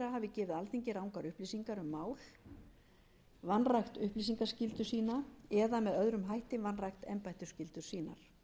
gefið alþingi rangar upplýsingar um mál vanrækt upplýsingaskyldu sína eða með öðrum hætti vanrækt embættisskyldur sínar